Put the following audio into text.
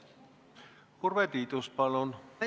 Urve Tiidus, palun!